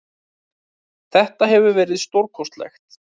Þetta hefur verið stórkostlegt.